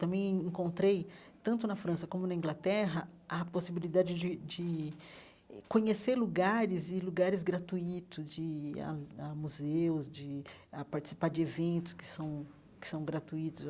Também encontrei, tanto na França como na Inglaterra, a possibilidade de de eh conhecer lugares e lugares gratuitos, de ir a a museus, de ah participar de eventos que são que são gratuitos.